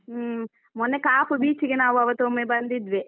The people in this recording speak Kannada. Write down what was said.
ಹೂಂ. ಮೊನ್ನೆ ಕಾಪು beach ಗೆ ನಾವು ಆವತ್ತೊಮ್ಮೆ ಬಂದಿದ್ವಿ.